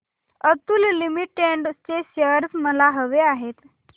Atul limited चे shares मला हवे आहेत